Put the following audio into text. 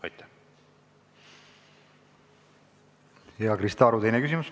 Krista Aru, teine küsimus.